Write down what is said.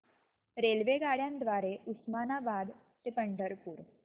रेल्वेगाड्यां द्वारे उस्मानाबाद ते पंढरपूर